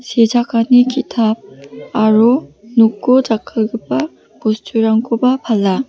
sechakani ki·tap aro noko jakkalgipa bosturangkoba pala.